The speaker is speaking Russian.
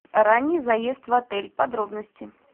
ранний заезд в отель подробности